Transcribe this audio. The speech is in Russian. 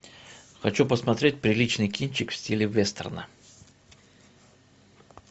хочу посмотреть приличный кинчик в стиле вестерна